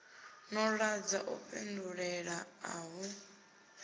no ḓadza u fhindulela uhu